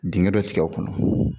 Dingɛ dɔ tigɛ o kɔnɔ.